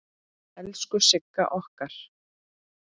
Elsku Sigga okkar.